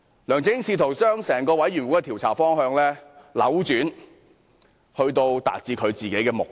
梁振英試圖將專責委員會的調查方向扭轉，達致自己的目的。